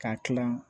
K'a kilan